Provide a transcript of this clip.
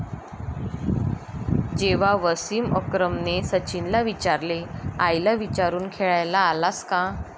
जेव्हा वसीम अकरमने सचिनला विचारले, आईला विचारून खेळायला आलास का?